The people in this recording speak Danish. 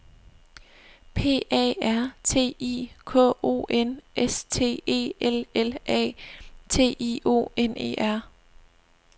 P A R T I K O N S T E L L A T I O N E R